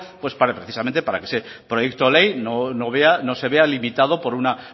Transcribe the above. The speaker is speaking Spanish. pues para precisamente para que ese proyecto de ley no vea no se vea limitado por una